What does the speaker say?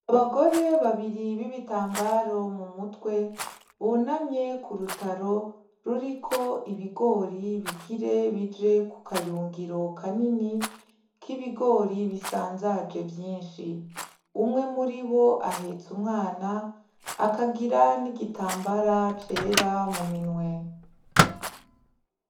Abagore babiri bibitambaro mumutwe bunamye kurutaro ruriko ibigori bigira bije kukayungiro kanini kibigori bisanzaje vyinshi umwe muribo ahetse umwana akagira n'igitambara cera muminwe